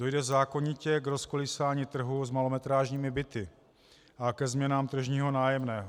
Dojde zákonitě k rozkolísání trhu s malometrážními byty a ke změnám tržního nájemného.